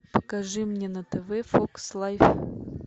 покажи мне на тв фокс лайф